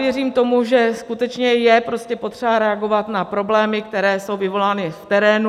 Věřím tomu, že skutečně je potřeba reagovat na problémy, které jsou vyvolány v terénu.